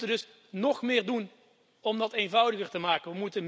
We moeten dus nog meer doen om dat eenvoudiger te maken.